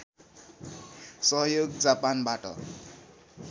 सहयोग जापानबाट